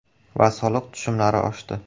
Va soliq tushumlari oshdi”.